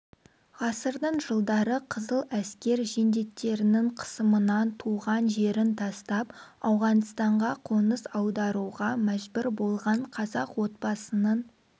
ғасырдың жылдары қызыл әскер жендеттерінің қысымынан туған жерін тастап ауғанстанға қоныс аударуға мәжбүр болған қазақ отбасының